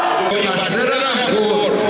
Kərbəla əsrə.